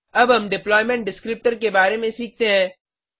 अब हम deployment descriptor के बारे में सीखते हैं